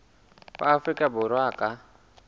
wa afrika borwa a ka